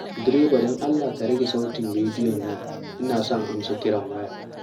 Direba don Allah ka rage sautin rediyon nan ina son amsa kiran waya.